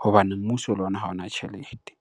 hobane mmuso le ona ha ona tjhelete.